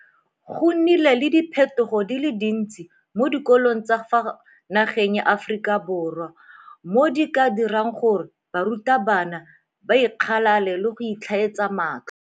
Go nnile le diphetogo di le dintsi mo dikolong tsa ka fa nageng ya Aforika Borwa mo di ka dirang gore barutwana ba ikgalale le go itlhaetsa matlho.